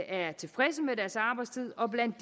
er tilfredse med deres arbejdstid og blandt